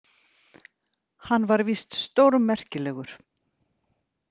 Hann var víst stórmerkilegur.